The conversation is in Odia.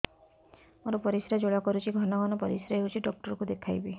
ମୋର ପରିଶ୍ରା ଜ୍ୱାଳା କରୁଛି ଘନ ଘନ ପରିଶ୍ରା ହେଉଛି ଡକ୍ଟର କୁ ଦେଖାଇବି